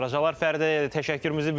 Fəridə təşəkkürümüzü bildiririk.